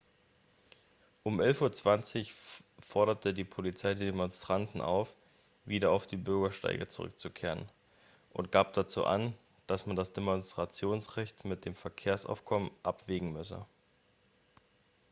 um 11:20 uhr forderte die polizei die demonstranten dazu auf wieder auf die bürgersteige zurückzukehren und gab dazu an dass man das demonstrationsrecht mit dem verkehrsaufkommen abwägen müsse